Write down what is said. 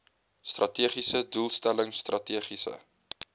strategiese doelstelling strategiese